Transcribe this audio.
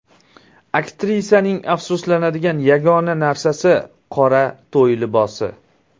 Aktrisaning afsuslanadigan yagona narsasi – qora to‘y libosi.